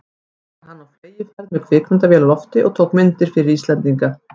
Nú var hann á fleygiferð með kvikmyndavél á lofti og tók myndir fyrir Íslendinga.